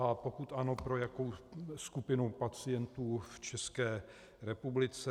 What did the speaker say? A pokud ano, pro jakou skupinu pacientů v České republice.